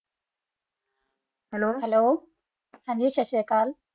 hello hello ਸਸਰਿਅਕਲ੍ਲ